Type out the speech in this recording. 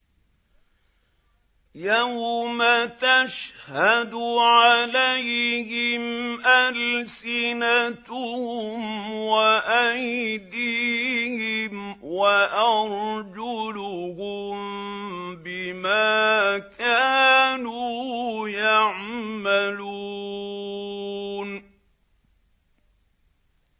يَوْمَ تَشْهَدُ عَلَيْهِمْ أَلْسِنَتُهُمْ وَأَيْدِيهِمْ وَأَرْجُلُهُم بِمَا كَانُوا يَعْمَلُونَ